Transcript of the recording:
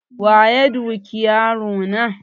Waya duki yaro na?